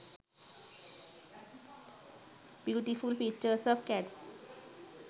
beautiful pictures of cats